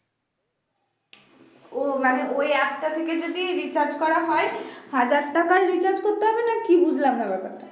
ও মানে ওই app টা থেকে যদি recharge করা হয় হাজার টাকাই recharge করতে হবে না কি বুঝলাম না ব্যাপারটা